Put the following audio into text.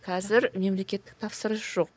қазір мемлекеттік тапсырыс жоқ